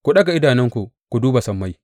Ku ɗaga idanunku ku duba sammai.